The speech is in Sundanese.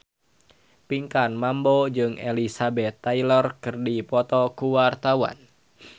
Pinkan Mambo jeung Elizabeth Taylor keur dipoto ku wartawan